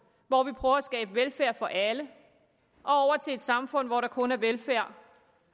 hvor vi prøver at skabe velfærd for alle og til et samfund hvor der kun er velfærd